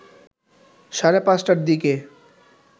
সাড়ে ৫ টার দিকে